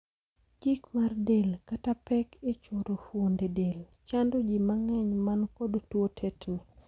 Jik mar del, kata pek e choro fuonde del, chando jii mang'eny man kod tuo tetni.